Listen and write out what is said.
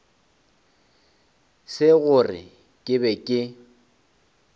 se gore ke be ke